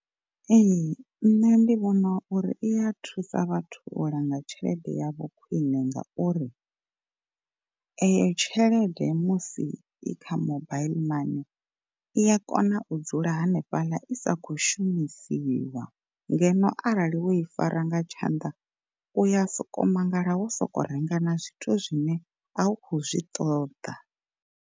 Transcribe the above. Ee nṋe ndi vhona uri iya thusa vhathu u langa tshelede yavho khwine ngauri, eyo tshelede musi i kha mobaiḽi mani i ya kona u dzula hanefhaḽa i sa kho shumisiwa, ngeno arali wo i fara nga tshanḓa uya soko mangala wo soko renga na zwithu zwine a u kho zwi ṱoḓa.